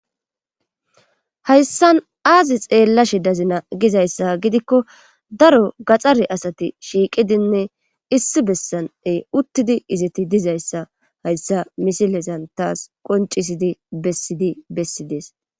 Hayssan aazi xeellashshe dazina gizayssa gidikko daro gaxxare asati shiiqidinne issi bessaney uttidi izeti dizayssa hayssa misilezan taas qoncisidi bessidi bessidees